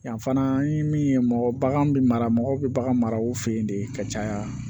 Yan fana an ye min ye mɔgɔ baganw bɛ mara mɔgɔw bɛ bagan mara u fɛ ye de ka caya